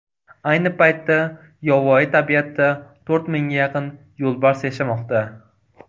Ayni paytda yovvoyi tabiatda to‘rt mingga yaqin yo‘lbars yashamoqda.